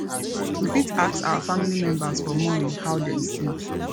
we fit ask our family members for morning how dem sleep